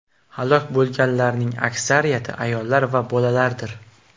Halok bo‘lganlarning aksariyati ayollar va bolalardir.